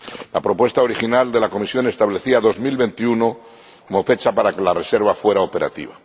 La propuesta original de la Comisión establecía 2021 como fecha para que la reserva fuera operativa.